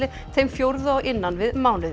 þeim fjórðu á innan við mánuði